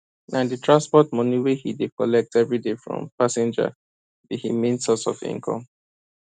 na the transport money wey he dey collect every day from passenger be him main source of income